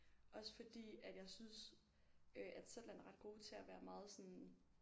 Også fordi at jeg synes øh at Zetland er ret gode til at være meget sådan